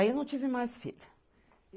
Aí, eu não tive mais filho.